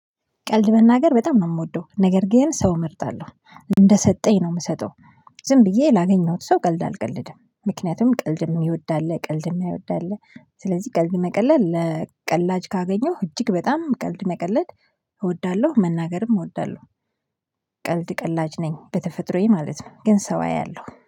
ቀልድ መናገር በጣም ነው የምወደው ነገር ግን ሰው እመርጣለሁ እንደሰጠኝ ነው የምሰጠው ዝም ብዬ ላገኘሁት ሰው ቀልድ አልቀልድም ምክንያቱም ቀልድ ምወድ አለ ቀልድ የማይወድ አለ ስለዚህ ቀልድ መቀለድ ለቀላጅ ካገኘሁ እጅግ በጣም ቀልድ መቀለድ እወዳለሁ መናገርም እወዳለሁ። ቀልድ ቀላጅ ነኝ በተፈጥሮዬ ማለት ነው ግን ሰው አያለሁ